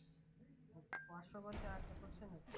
পাঁচশো বছে আরেকটা করছে নাকি